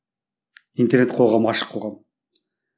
интернет қоғамы ашық қоғам